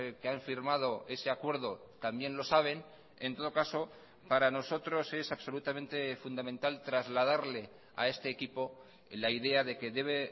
que han firmado ese acuerdo también lo saben en todo caso para nosotros es absolutamente fundamental trasladarle a este equipo la idea de que debe